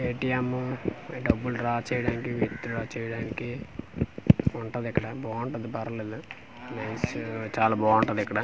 ATM డబ్బులు draw చేయడానికి withdraw చేయడానికి ఉంటాది ఇక్కడ బాగుంటది పర్లేదు చాలా బావుంటాది ఇక్కడ.